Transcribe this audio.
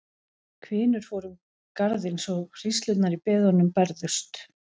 Hvinur fór um garðinn svo hríslurnar í beðunum bærðust.